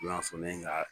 I n'a fɔ ne ye ŋa